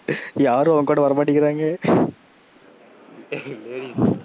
யாரும் அவன் கூட வர மாட்டிங்குறாங்க, ladies,